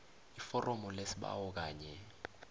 iforomo lesibawo kanye